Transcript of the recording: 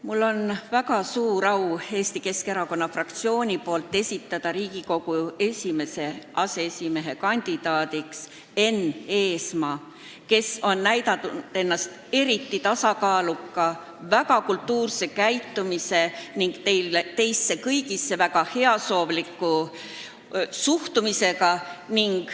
Mul on väga suur au Eesti Keskerakonna fraktsiooni nimel esitada Riigikogu esimese aseesimehe kandidaadiks Enn Eesmaa, kes on näidanud ennast eriti tasakaaluka, väga kultuurse käitumisega ning teisse kõigisse väga heasoovlikult suhtuva inimesena.